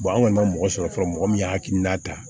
an kɔni ma mɔgɔ sɔrɔ fɔlɔ mɔgɔ min y'a hakilina ta